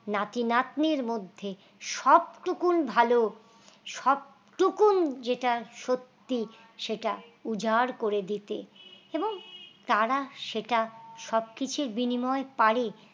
নাতি নাতনির মধ্যে সব টুকুন ভালো সব টুকুন যেটা সত্যি সেটা উজাড় করে দিতে এবং তারা সেটা সবকিছুর বিনিময় পারে।